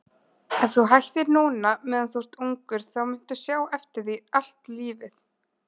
Ef þú hættir núna meðan þú ert ungur þá muntu sjá eftir því allt lífið.